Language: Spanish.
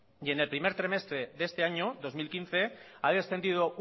y en el primer trimestre de este año dos mil quince ha descendido